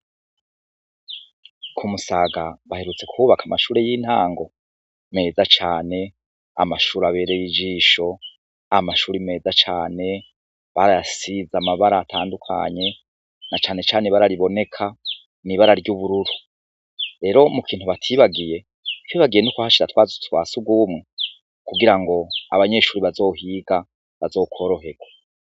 Ku Musaga, baherutse kubaka amashure y'intango meza cane, amashure abereye ijisho, amashure meza cane, barayasize amabara atandukanye, na cane cane ibara riboneka n'ibara ry'ubururu, rero mu kintu batibagiye ntibibagiye no kuhashira twa tuzu twa sugumwe kugira abanyeshure bazohiga bazokoroherwe.